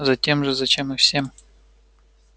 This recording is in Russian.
затем же зачем и всем